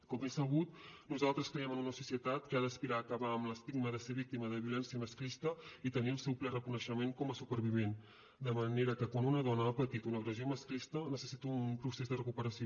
com és sabut nosaltres creiem en una societat que ha d’aspirar a acabar amb l’estigma de ser víctima de violència masclista i a tenir el seu ple reconeixement com a supervivent de manera que quan una dona ha patit una agressió masclista necessita un procés de recuperació